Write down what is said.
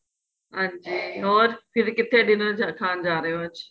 ਹਾਂਜੀ ਹੋਰ ਫ਼ਿਰ ਕਿਥੇ dinner ਖਾਣ ਜਾਂ ਰਹੇ ਹੋ ਅੱਜ